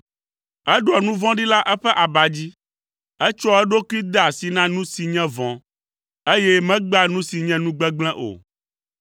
Eɖoa nu vɔ̃ɖi le eƒe aba dzi, etsɔa eɖokui dea asi na nu si nye vɔ̃, eye megbea nu si nye nu gbegblẽ o.